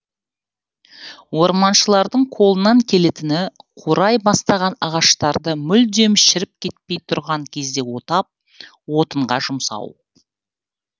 орманшылардың қолынан келетіні қурай бастаған ағаштарды мүлдем шіріп кетпей тұрған кезде отап отынға жұмсау